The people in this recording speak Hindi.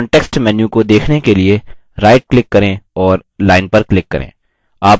context menu को देखने के लिए right click करें और line पर click करें